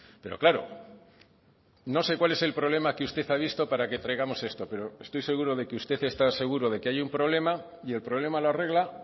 pero claro no sé cuál es el problema que usted ha visto para que traigamos esto pero estoy seguro de que usted está seguro de que hay un problema y el problema la arregla